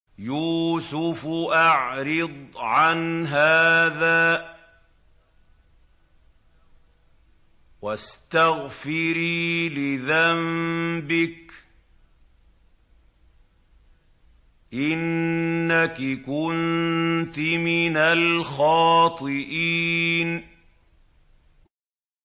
يُوسُفُ أَعْرِضْ عَنْ هَٰذَا ۚ وَاسْتَغْفِرِي لِذَنبِكِ ۖ إِنَّكِ كُنتِ مِنَ الْخَاطِئِينَ